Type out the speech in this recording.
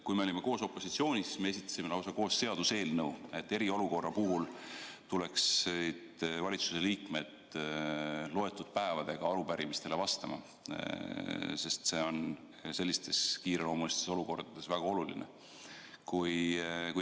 Kui me olime koos opositsioonis, siis esitasime koos lausa seaduseelnõu, et eriolukorra puhul tuleksid valitsuse liikmed loetud päevade jooksul arupärimisele vastama, sest see on kiireloomulises olukorras väga oluline.